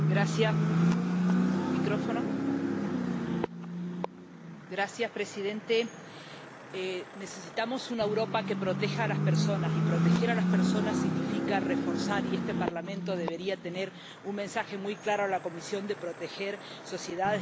Señor presidente, necesitamos una Europa que proteja a las personas, y proteger a las personas significa reforzar, y este Parlamento debería enviar un mensaje muy claro a la Comisión de proteger sociedades e instituciones europeas.